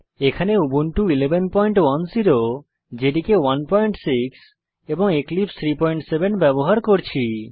এখানে Ubuntu 1110 JDK 16 এবং এক্লিপসে 37 ব্যবহার করছি